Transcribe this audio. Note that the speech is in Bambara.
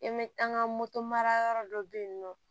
I bɛ an ka moto mara yɔrɔ dɔ bɛ yen nɔ